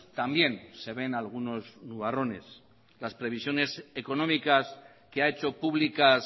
también se ven algunos nubarrones las previsiones económicas que ha hecho públicas